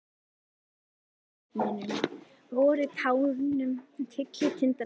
Núna var það tilvitnunin: Vorið tánum tyllir tindana á.